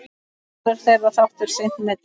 Verður þeirra þáttur seint metinn.